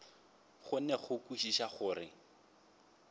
kgone go kwešiša gore ke